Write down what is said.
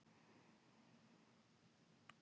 Orðið róða hefur fleiri en eina merkingu.